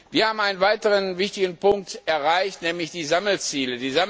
Wir haben einen weiteren wichtigen Punkt erreicht, nämlich die Sammelziele.